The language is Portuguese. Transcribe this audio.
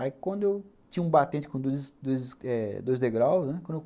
Aí quando eu... Tinha um batente com dois dois degraus, né?